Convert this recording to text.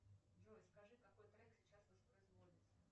джой скажи какой трек сейчас воспроизводится